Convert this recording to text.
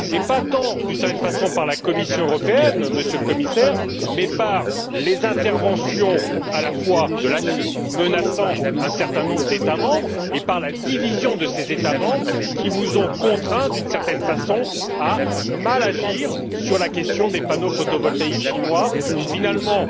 Pas tant à cause de la Commission européenne, Monsieur le Commissaire, mais à cause des interventions de la Chine qui a menacé un certain nombre d'États membres, et à cause de la division de ces États membres, qui vous ont contraint, d'une certaine façon, à mal agir sur la question des panneaux photovoltaïques chinois, où finalement